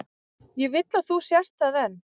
Ég vil að þú sért það enn.